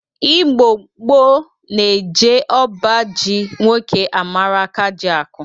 Igbo gboo na-eje ọba ji nwoke amara akajiakụ.